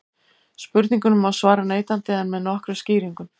Spurningunni má svara neitandi en með nokkrum skýringum.